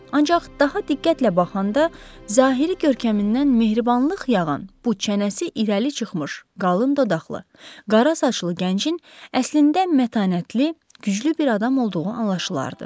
Ancaq daha diqqətlə baxanda zahiri görkəmindən mehribanlıq yağan bu çənəsi irəli çıxmış, qalın dodaqlı, qara saçlı gəncin əslində mətanətli, güclü bir adam olduğu anlaşılardı.